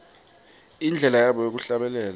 indlela yabo yekuhlabelela